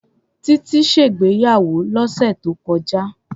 Tití ṣègbéyàwó lọ́sẹ̀ tó kọjá.